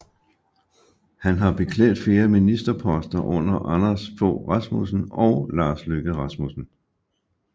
Han har beklædt flere ministerposter under Anders Fogh Rasmussen og Lars Løkke Rasmussen